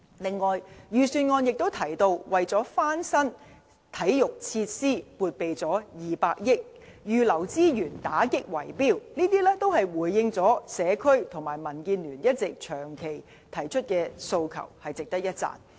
此外，預算案提及到撥備200億元翻新體育設施；預留資源打擊"圍標"，這些均回應了社區和民建聯長期提出的訴求，值得一讚。